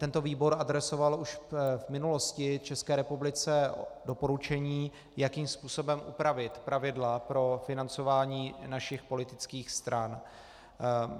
Tento výbor adresoval už v minulosti České republice doporučení, jakým způsobem upravit pravidla pro financování našich politických stran.